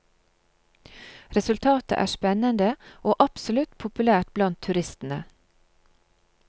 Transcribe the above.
Resultatet er spennende og absolutt populært blant turistene.